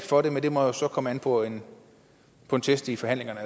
for det men det må jo så komme an på en test i forhandlingerne